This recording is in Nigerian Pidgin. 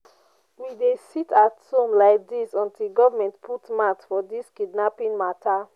we dey sit-at-home lai dis until government put mout for dis kidnapping mata.